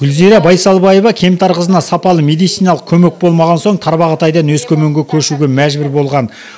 гүлзира байсалбаева кемтар қызына сапалы медициналық көмек болмаған соң тарбағтайдан өскеменге көшуге мәжбүр болған